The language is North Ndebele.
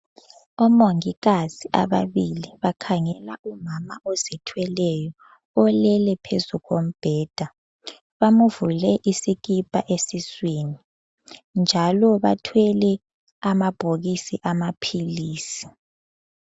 Omongikazi ababili bakhangela umama ozithweleyo olele phezu kombheda. Bamvule isikipa esiswini njalo bathwele amabhokisi amaphilisi.